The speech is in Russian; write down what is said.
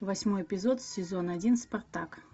восьмой эпизод сезон один спартак